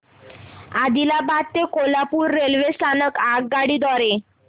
आदिलाबाद ते कोल्हापूर रेल्वे स्थानक आगगाडी द्वारे